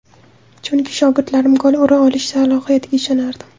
Chunki shogirdlarim gol ura olish salohiyatiga ishonardim.